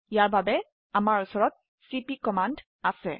ইয়াৰ বাবে আমাৰ উচৰত চিপি কমান্ড আছে